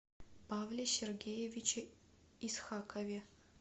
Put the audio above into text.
павле сергеевиче исхакове